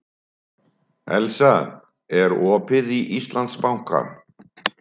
Elsa, er opið í Íslandsbanka?